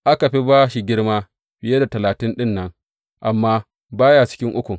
Aka fi ba shi girma fiye da talatin ɗin nan, amma ba ya cikin ukun.